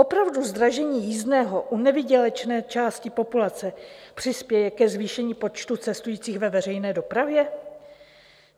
Opravdu zdražení jízdného u nevýdělečné části populace přispěje ke zvýšení počtu cestujících ve veřejné dopravě?